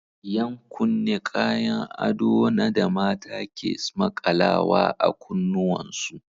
Yan kunne Kayon ado na da mata ke smaƙalawa a kunnuwan su.